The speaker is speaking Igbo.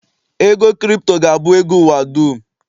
ego Kripto ga-abụ ego ụwa dum